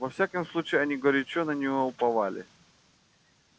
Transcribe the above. во всяком случае они горячо на неё уповали